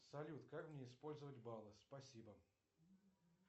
салют как мне использовать баллы спасибо